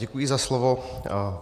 Děkuji za slovo.